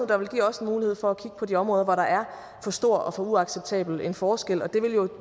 der vil give os mulighed for at kigge på de områder hvor der er for stor og for uacceptabel en forskel og det vil jo